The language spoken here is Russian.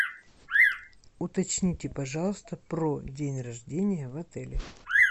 уточните пожалуйста про день рождения в отеле